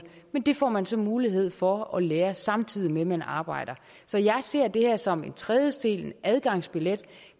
men det får man så mulighed for at lære samtidig med at man arbejder så jeg ser det her som en trædesten en adgangsbillet